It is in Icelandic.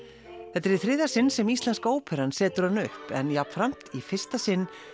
þetta er í þriðja sinn sem Íslenska óperan setur hana upp en jafnframt í fyrsta sinn